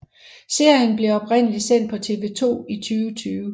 Serien blev oprindeligt sendt på TV 2 i 2020